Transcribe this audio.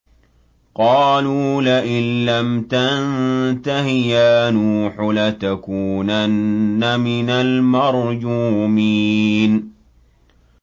قَالُوا لَئِن لَّمْ تَنتَهِ يَا نُوحُ لَتَكُونَنَّ مِنَ الْمَرْجُومِينَ